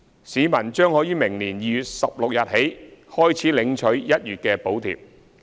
市民將可於明年2月16日起開始領取1月的補貼。